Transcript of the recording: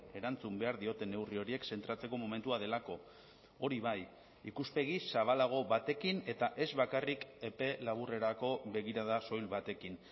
erantzun behar diote neurri horiek zentratzeko momentua delako hori bai ikuspegi zabalago batekin eta ez bakarrik epe laburrerako begirada soil batekin